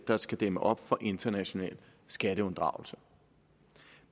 der skal dæmme op for international skatteunddragelse